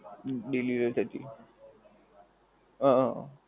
અમ delivery પર થી આહ